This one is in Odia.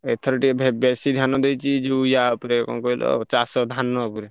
ଏଥର ଟିକେ ଭେ ବେଶୀ ଧ୍ୟାନ ଦେଇଚି ଯୋଉ ୟା ଉପରେ କଣ କହିଲି ଚାଷ ଧାନ ଉପରେ।